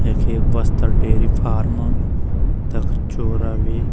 यख एक बस्ता डेरी फार्म तख छोरा भी।